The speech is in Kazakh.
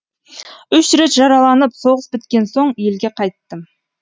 үш рет жараланып соғыс біткен соң елге қайттым